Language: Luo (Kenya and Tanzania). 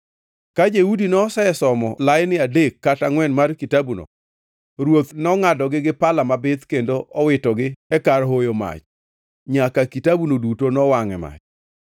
Ka Jehudi nosesomo laini adek kata angʼwen mar kitabuno, ruoth nongʼadogi gi pala mabith kendo owitogi e kar hoyo mach, nyaka kitabuno duto nowangʼ e mach.